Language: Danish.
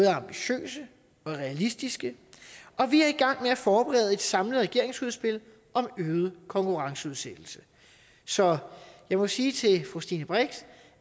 er ambitiøse og realistiske og vi er i gang med at forberede et samlet regeringsudspil om øget konkurrenceudsættelse så jeg må sige til fru stine brix